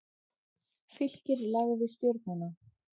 Fylkir lagði Stjörnuna